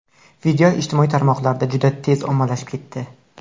Video ijtimoiy tarmoqlarda juda tez ommalashib ketdi.